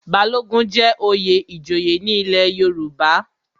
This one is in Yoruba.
Balogun jẹ́ oyè ìjòyè ní ilé Yorùbá.